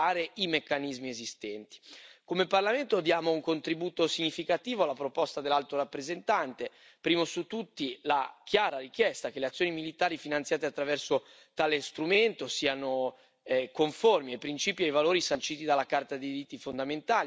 Come Parlamento diamo un contributo significativo alla proposta dell'Alto rappresentante, primo su tutti, la chiara richiesta che le azioni militari finanziate attraverso tale strumento siano conformi ai principi e ai valori sanciti dalla Carta dei diritti fondamentali e al diritto internazionale.